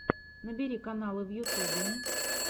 набери каналы в ютубе